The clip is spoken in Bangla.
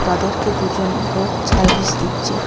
তাদেরকে দুজন লোক সার্ভিস দিচ্ছে.